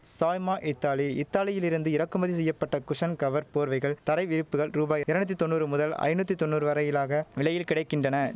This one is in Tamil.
சாய்மா இத்தாலி இத்தாலியிலிருந்து இறக்குமதி செய்ய பட்ட குஷன் கவர் போர்வைகள் தரை விரிப்புகள் ரூபாய் எரநூத்தி தொன்னூறு முதல் ஐநூத்தி தொன்னூறு வரையிலாக விலையில் கிடை கின்றன